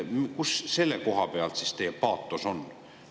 Mis selle koha pealt teie paatos on?